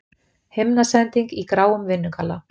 Himnasending í gráum vinnugalla.